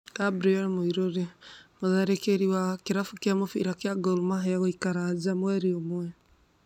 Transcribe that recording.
Gabriel Muiruri: mũtharĩkĩrĩ wa Gor Mahia gũikara nja mweri ũmwe.